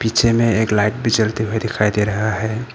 पीछे में एक लाइट भी जलती हुई दिखाई दे रहा है।